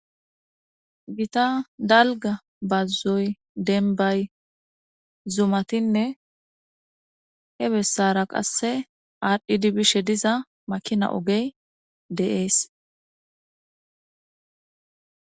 Gita dalga bazoy dembay zumatine he besara qasse adhidi bishe diza making ogey de'es